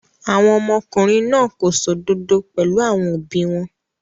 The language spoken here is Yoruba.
Àwọn ọmọkùnrin náà kò ṣòdodod pẹ̀lú àwọn òbí wọn.